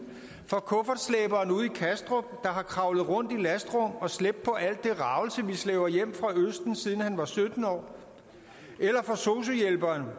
for kuffertslæberen ude i kastrup der har kravlet rundt i lastrum og slæbt på al det ragelse vi slæber hjem fra østen siden han var sytten år eller for sosu hjælperen